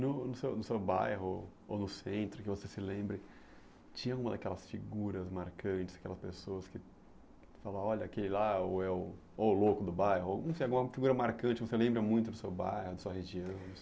No no seu no seu bairro ou no centro, que você se lembre, tinha uma daquelas figuras marcantes, aquelas pessoas que falavam, olha aquele lá, ou é o louco do bairro, ou não sei alguma figura marcante, você lembra muito do seu bairro, da sua região?